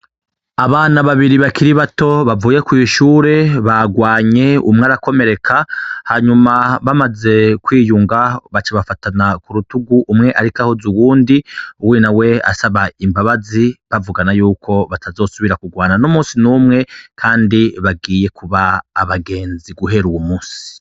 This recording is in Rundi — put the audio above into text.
Abana babiri bakiri bato bavuye kw'ishure bagwanye umwe arakomereka hanyuma bamaze kwiyunga baca bafatana ku rutugu umwe, ariko ahuze uwundi uwina we asaba imbabazi bavugana yuko batazosubira kurwana n'umusi n'umwe, kandi bagiye kuba abagenzi guhe ri uwu musi.